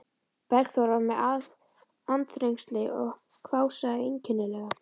Bergþóra var með andþrengsli og hvásaði einkennilega.